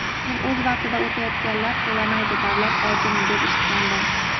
Men o‘z vaqtida o‘tayotganlar to‘lamaydi davlat bojini deb eshitgandim.